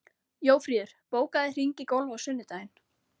Jófríður, bókaðu hring í golf á sunnudaginn.